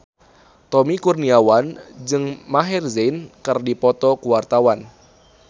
Tommy Kurniawan jeung Maher Zein keur dipoto ku wartawan